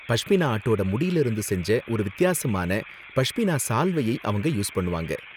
பஷ்மினா ஆட்டோட முடில இருந்து செஞ்ச ஒரு வித்தியாசமான பஷ்மினா சால்வையை அவங்க யூஸ் பண்ணுவாங்க.